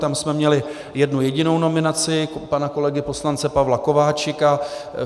Tam jsme měli jednu jedinou nominaci - pana kolegy poslance Pavla Kováčika.